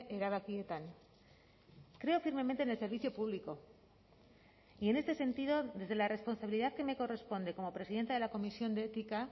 erabakietan creo firmemente en el servicio público y en este sentido desde la responsabilidad que me corresponde como presidenta de la comisión de ética